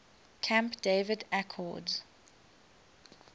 camp david accords